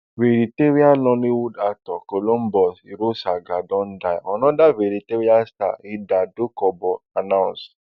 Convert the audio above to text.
veteran nollywood actor columbus irosanga don die anoda veteran star hilda dokubo announce